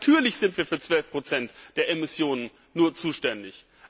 Natürlich sind wir nur für 12 Prozent der Emissionen zuständig!